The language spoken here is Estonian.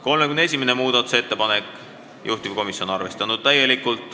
31. muudatusettepanek, juhtivkomisjon on täielikult arvestanud.